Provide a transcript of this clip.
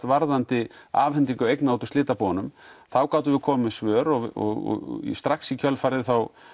varðandi afhendingu eigna úr slitabúunum þá gátum við komið með svör og strax í kjölfarið